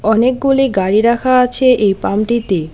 অনেকগুলি গাড়ি রাখা আছে এই পাম্পটিতে।